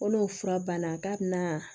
Ko n'o fura banna k'a bɛna